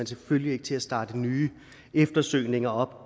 selvfølgelig ikke til at starte nye eftersøgninger op